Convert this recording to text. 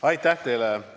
Aitäh teile!